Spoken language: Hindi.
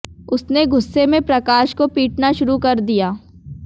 उसने गुस्से में प्रकाश को पीटना शुरू कर दिया